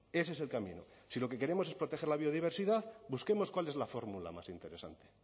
ese es el camino si lo que queremos es proteger la biodiversidad busquemos cuál es la fórmula más interesante